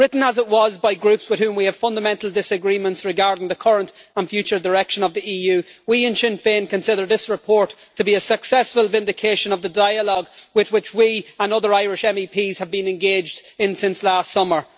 Written as it was by Groups with whom we have fundamental disagreements regarding the current and future direction of the EU, we in Sinn Féin consider this report to be a successful vindication of the dialogue with which we and other Irish MEPs have been engaged in since last summer.